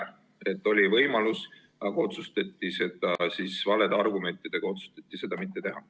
Ehk et see oli võimalik, aga otsustati valedele argumentidele tuginedes seda mitte teha.